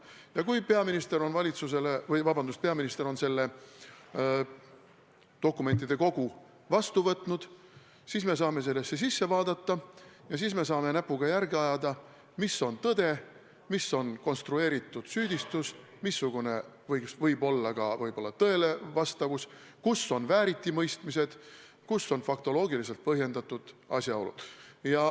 Ja kui peaminister on selle dokumentide kogu vastu võtnud, siis me saame sellesse sisse vaadata ja näpuga järge ajada, mis on tõde, mis on konstrueeritud süüdistus, missugune võib-olla ka tõelevastavus, kus on vääritimõistmised, kus on faktoloogiliselt põhjendatud asjaolud.